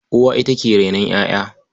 Uwa ita ke rainon ƴaƴa.